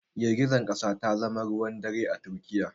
Girgizar kasa ta zama ruwan dare a Turkiyya